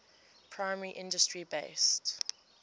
primary industry based